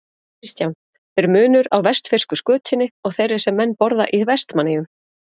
Kristján: Er munur á vestfirsku skötunni og þeirri sem menn borða í Vestmannaeyjum?